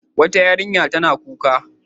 Wata yarinya tana kuka.